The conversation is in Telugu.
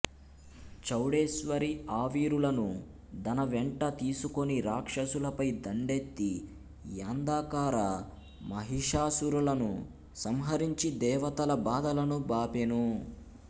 చౌడేశ్వరి ఆవీరులను దనవెంట తీసుకొని రాక్షసులపై దండెత్తి యంధకార మహిషాసురులను సంహరించి దేవతల బాధలను బాపెను